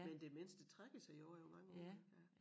Men demens de strækker sig jo også over mange år ik ja